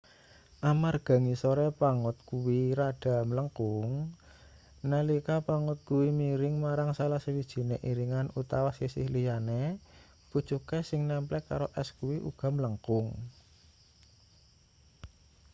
amarga ngisore pangot kuwi rada mlengkung nalika pangot kuwi miring marang salah sawijine iringan utawa sisih liyane pucuke sing nemplek karo es kuwi uga mlengkung